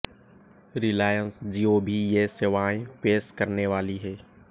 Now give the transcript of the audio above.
रिलायंस जियो भी ये सेवाएं पेश करने वाली है